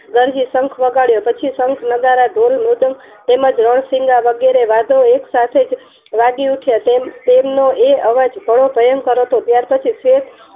શંખ વગાડ્યો પછી શંખ નગારા ઢોલ તેમજ રણસેલા વગેરે એકસાથે વાગી ઉઠ્યા તેમજ તેનો તે અવાજ ઘણો ભયંકર હતો ત્યાર પછી